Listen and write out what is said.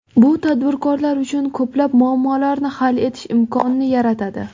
Bu tadbirkorlar uchun ko‘plab muammolarni hal etish imkonini yaratadi.